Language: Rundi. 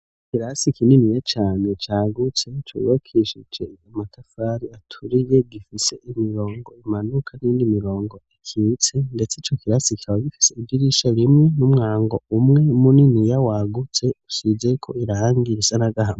Ikirasi kininiya cane cagutse cubakishije amatafari aturiye gifise imirongo imanuka n'iyindi mirongo ikitse ndetse ico kirasi kikaba gifise idirisha rimwe n'umwango umwe muniniya wagutse usizeko irangi risa n'agahama.